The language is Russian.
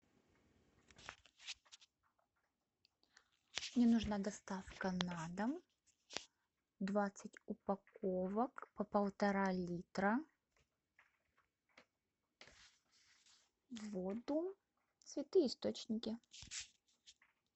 мне нужна доставка на дом двадцать упаковок по полтора литра воду святые источники